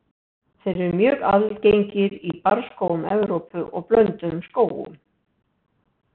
Þeir eru mjög algengir í barrskógum Evrópu og blönduðum skógum.